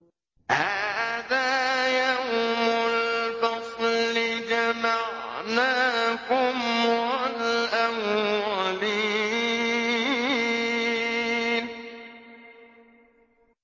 هَٰذَا يَوْمُ الْفَصْلِ ۖ جَمَعْنَاكُمْ وَالْأَوَّلِينَ